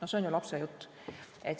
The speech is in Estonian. See on ju lapsejutt.